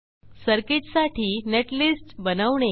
सर्किटसाठी नेटलिस्ट बनवणे